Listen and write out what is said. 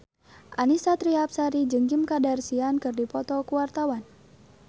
Annisa Trihapsari jeung Kim Kardashian keur dipoto ku wartawan